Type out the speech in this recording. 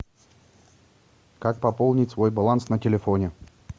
как пополнить свой баланс на телефоне